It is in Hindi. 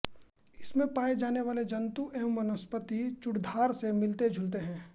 इसमें पाए जाने वाले जन्तु एवं वनस्पति चूड़धार से मिलते जुलते हैं